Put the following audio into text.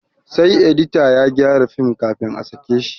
Sai edita ya gyara film kafin a sake shi